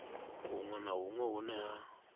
hunwe na hunwe hune ha